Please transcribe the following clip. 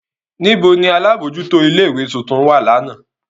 Nibo ni alabojuto ile-iwe tuntun wa làná?